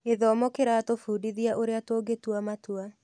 Gĩthomo kĩratũbundithia ũrĩa tũngĩtua matua.